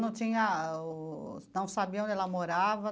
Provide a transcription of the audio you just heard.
Não tinha o... não sabia onde ela morava?